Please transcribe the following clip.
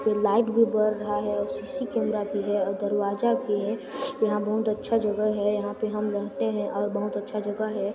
Light भी बर रहा है और सीसी कैमरा भी है और में दरवाजा भी है यहां बहुत अच्छे जगह है यहां पर हम रहते हैं और बहुत अच्छे जगह है।